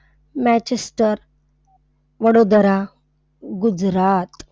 Manchester Vadodara, Gujarat.